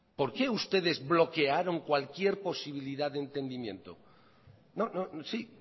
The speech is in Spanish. por qué ustedes bloquearon cualquier posibilidad de entendimiento sí